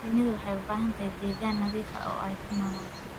Shinnidu waxay u baahan tahay deegaan nadiif ah oo ay ku noolaato.